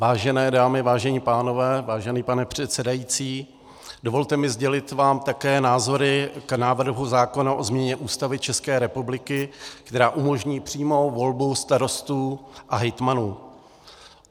Vážené dámy, vážení pánové, vážený pane předsedající, dovolte mi sdělit vám také názory k návrhu zákona o změně Ústavy České republiky, která umožní přímou volbu starostů a hejtmanů.